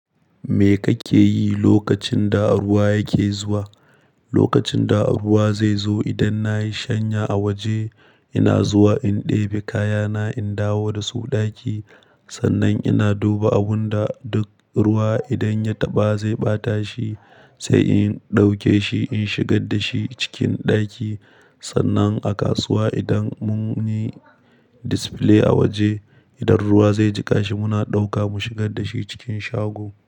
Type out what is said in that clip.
Me kake yi lokacin da ruwa yake zuwa? Lokacin da ruwa zai zo, idan na yi shanya a waje, ina zuwa in ɗebe kayana, in dawo da su ɗaki. Sannan ina duba abun da duk ruwa idan ya taɓa zai ɓata shi, sai in ɗauke shi in shigar da shi cikin ɗaki. Sannan a kasuwa idan mun yi display a waje, idan ruwa zai jiƙa shi, muna ɗauka mu shigar da shi cikin shago.